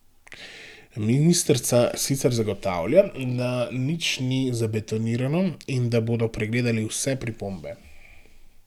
Ministrica sicer zagotavlja, da nič ni zabetonirano in da bodo pregledali vse pripombe.